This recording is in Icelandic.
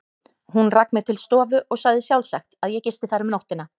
Hún rak mig til stofu og sagði sjálfsagt, að ég gisti þar um nóttina.